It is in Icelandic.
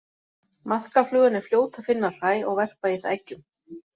Maðkaflugan er fljót að finna hræ og verpa í það eggjum.